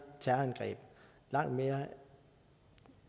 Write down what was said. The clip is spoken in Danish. terrorangreb langt mere